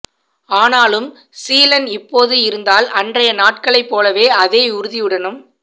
ஆனாலும் சீலன் இப்போது இருந்தால் அன்றைய நாட்களைப் போலவே அதே உறுதியுடனும்